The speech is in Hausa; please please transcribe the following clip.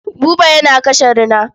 Buba yana kashe rina.